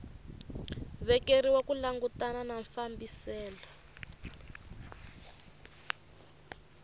vekeriwa ku langutana na fambiselo